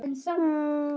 En þá skall ógæfan yfir.